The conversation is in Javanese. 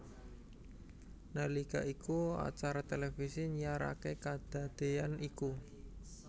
Nalika iku acara televisi nyiaraké kadadéyan iku